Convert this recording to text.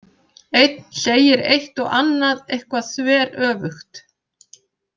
Einn segir eitt og annað eitthvað þveröfugt.